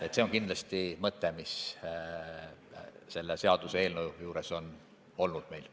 Jah, see on kindlasti see mõte, mis meil selle seaduseelnõu juures on olnud.